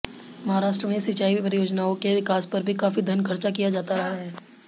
महाराष्ट्र में सिंचाई परियोजनाओं के विकास पर भी काफी धन खर्च किया जाता रहा है